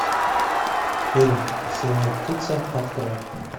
фильм синяя птица открой